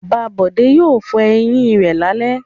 Bàbá Bọ̀dé yóò fọ eyín rẹ̀ lálẹ́.